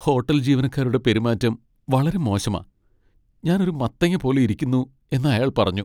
Hotel ജീവനക്കാരുടെ പെരുമാറ്റം വളരെ മോശമാ. ഞാൻ ഒരു മത്തങ്ങ പോലെ ഇരിക്കുന്നു എന്ന് അയാൾ പറഞ്ഞു.